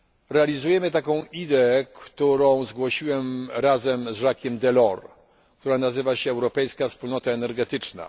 r. realizujemy taką ideę, którą zgłosiłem razem z Jacquesem Delorsem i która nazywa się Europejska Wspólnota Energetyczna.